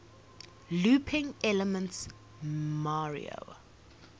looping elements mario